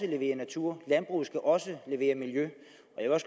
levere natur landbruget skal også levere miljø